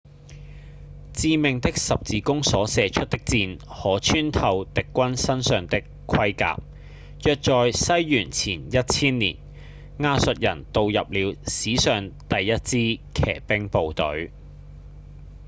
致命的十字弓所射出的箭可穿透敵軍身上的盔甲約在西元前1千年亞述人導入了史上第一支騎兵部隊